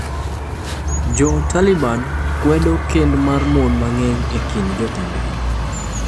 Jo Taliban kwedo kend mar mon mang’eny e kind jotendgi